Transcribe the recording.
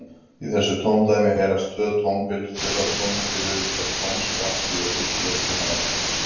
Í þessu tóndæmi heyrast tvö tónbil, fyrra tónbilið er tónskratti og fylgir lausnin á eftir.